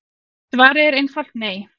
Svarið er einfalt nei.